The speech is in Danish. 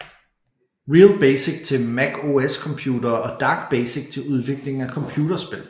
RealBASIC til Mac OS computere og DarkBASIC til udvikling af computerspil